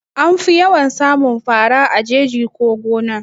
Anfi yawan samun fara a jeji ko gona